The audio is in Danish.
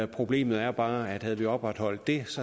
problemet er bare at havde vi opretholdt det